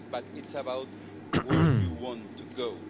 it's about where you want to go.